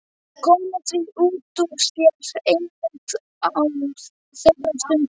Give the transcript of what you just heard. Komið því út úr sér einmitt á þeirri stundu.